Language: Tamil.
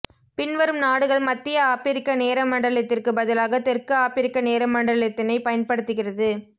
பின்வரும் நாடுகள் மத்திய ஆப்பிரிக்க நேர மண்டலத்திற்கு பதிலாக தெற்கு ஆப்பிரிக்க நேரமண்டலத்தினை பயன்படுத்துகிறது